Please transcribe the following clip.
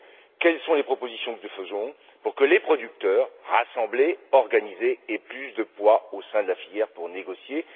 Quelles sont les propositions que nous faisons pour que les producteurs, rassemblés, organisés, aient plus de poids au sein de la filière pour négocier?